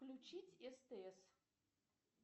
включить стс